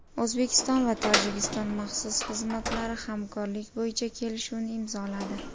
O‘zbekiston va Tojikiston maxsus xizmatlari hamkorlik bo‘yicha kelishuvni imzoladi.